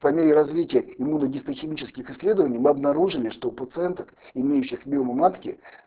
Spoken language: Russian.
по мере развития иммуногистохимическ исследований мы обнаружили что у пациенток имеющих миому матки